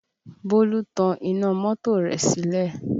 Bólú tan iná mọ́tò rẹ̀ sílẹ̀